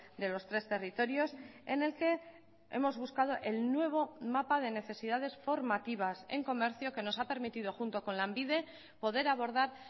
de los tres territorios en el que hemos buscado el nuevo mapa de necesidades formativas en comercio que nos ha permitido junto con lanbide poder abordar